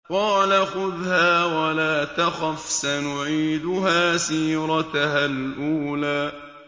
قَالَ خُذْهَا وَلَا تَخَفْ ۖ سَنُعِيدُهَا سِيرَتَهَا الْأُولَىٰ